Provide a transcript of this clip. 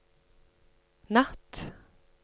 natt